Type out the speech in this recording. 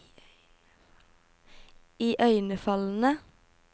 iøynefallende